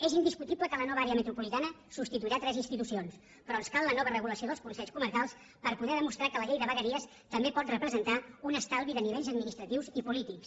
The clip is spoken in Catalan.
és indiscutible que la nova àrea metropolitana substituirà tres institucions però ens cal la nova regulació del consells comarcals per poder demostrar que la llei de vegueries també pot representar un estalvi de nivells administratius i polítics